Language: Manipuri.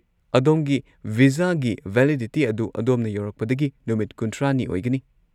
ꯑꯗꯣꯝꯒꯤ ꯚꯤꯖꯥꯒꯤ ꯚꯦꯂꯤꯗꯤꯇꯤ ꯑꯗꯨ ꯑꯗꯣꯝꯅ ꯌꯧꯔꯛꯄꯗꯒꯤ ꯅꯨꯃꯤꯠ ꯈꯨꯟꯊ꯭ꯔꯥꯅꯤ ꯑꯣꯏꯒꯅꯤ꯫